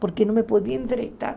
Porque não me podia endireitar.